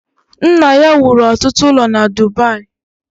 Nna ya wuru ọtụtụ ụlọ na Dubayi